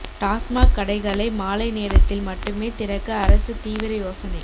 டாஸ்மாக் கடைகளை மாலை நேரத்தில் மட்டுமே திறக்க அரசு தீவிர யோசனை